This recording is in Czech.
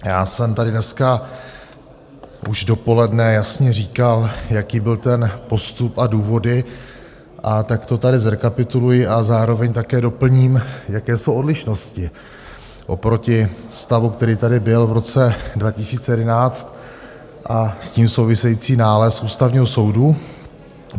Já jsem tady dneska už dopoledne jasně říkal, jaký byl ten postup a důvody, a tak to tady zrekapituluji a zároveň také doplním, jaké jsou odlišnosti oproti stavu, který tady byl v roce 2011, a s tím související nález Ústavního soudu.